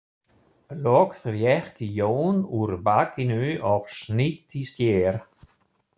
Loks rétti Jón úr bakinu og snýtti sér.